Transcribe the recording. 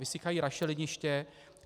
Vysychají rašeliniště.